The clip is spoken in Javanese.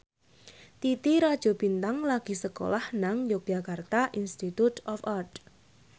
Titi Rajo Bintang lagi sekolah nang Yogyakarta Institute of Art